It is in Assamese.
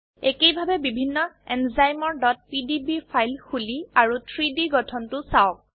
একেইভাবে বিভিন্ন এনজাইমৰ pdb ফাইল খুলি তাৰ 3ডি গঠনটো চাওক